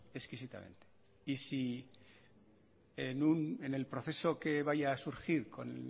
exquisitamente y si en el proceso que vaya a surgir con